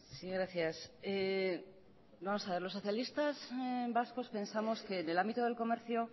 sí gracias vamos a ver los socialistas vascos pensamos que del ámbito del comercio